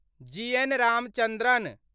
जी. N. Ramachandran